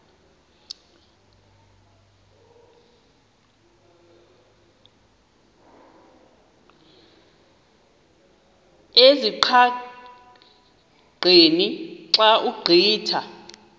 ezingqaqeni xa ugqitha